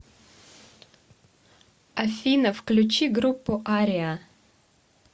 афина включи группу ариа